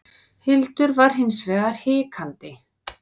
Hildur var hins vegar hikandi.